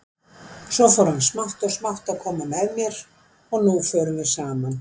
Svo fór hann smátt og smátt að koma með mér, og nú förum við saman.